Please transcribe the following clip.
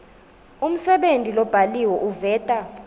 umsebenti lobhaliwe uveta